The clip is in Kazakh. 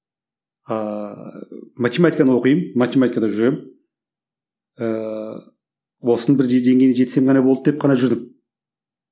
ааа математиканы оқимын математикада жүремін ыыы осының бір деңгейіне жетсем ғана болды деп қана жүрдім